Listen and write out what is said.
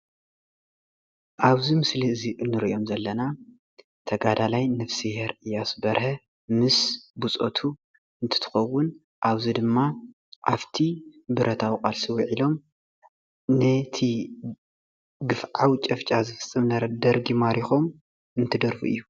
ኣብዚ ምስሊ እዚ እንሪኦም ዘለና ተጋዳላይ ነፍሲሄር እያሱ በርሀ ምስ ብፆቱ እንትኸውን ኣብዚ ድማ ኣብቲ ብረታዊ ቃልሲ ውዒሎም ነቲ ግፍዓዊ ጨፋጫፍ ዝፍፅም ዝነበረ ደርጊ ማሪኾም እንትደርፉ እዩ።